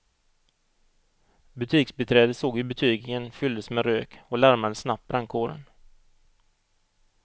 Butiksbiträdet såg hur butiken fylldes med rök och larmade snabbt brandkåren.